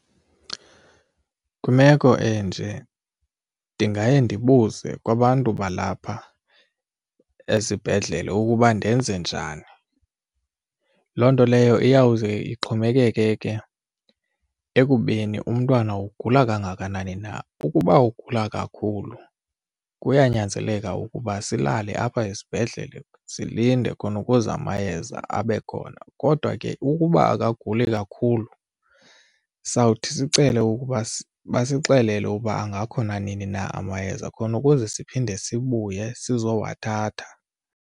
Kwimeko enje ndingaye ndibuze kwabantu balapha esibhedlele ukuba ndenze njani. Loo nto leyo iyawuze ixhomekeke ke ekubeni umntwana ugula kangakanani na. Ukuba ugula kakhulu kuyanyanzeleka ukuba silale apha esibhedlele silinde khona ukuze amayeza abe khona kodwa ke ukuba akaguli kakhulu sawuthi sicele ukuba basixelela ukuba angakhona nini na amayeza khona ukuze siphinde sibuye sizowathatha.